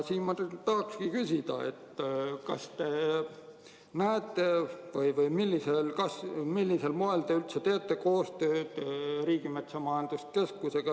Ma tahangi küsida, millisel moel te teete koostööd Riigimetsa Majandamise Keskusega.